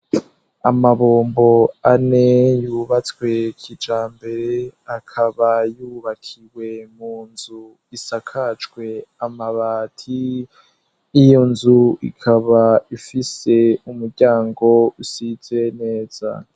Amabombo ane yubatswe kija mbere akaba yubakiwe mu nzu isakacwe amabati iyo nzu ikaba ifise umuryango usize neza.